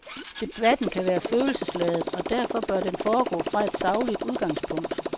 Debatten kan være følelsesladet, og derfor bør den foregå fra et sagligt udgangspunkt.